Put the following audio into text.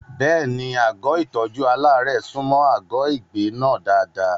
Bẹ́ẹ̀ni, àgọ́ ìtọ́jú aláàárẹ̀ súnmọ́ àgọ́ ìgbé náà dáadáa.